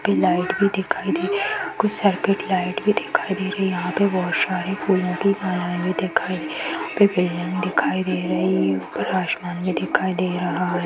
यहां पे लाइट भी दिखाई दे रही कुछ सर्किट लाइट भी दिखाई दे रही यहाँ पे बहुत सारे फूल की मालाए भी दिखाई यहां पे बिल्डिंग दिखाई दे रही है ऊपर आसमान भी दिखाई दे रहा है।